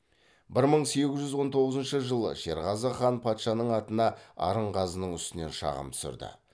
бір мың сегіз жүз он тоғызыншы жылы шерғазы хан патшаның атына арынғазының үстінен шағым түсірді